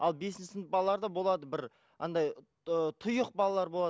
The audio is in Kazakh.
ал бесінші сынып балаларында болады бір андай ы тұйық балалар болады